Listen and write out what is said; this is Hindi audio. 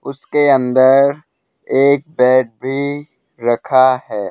उसके अंदर एक बेड भी रखा हैं।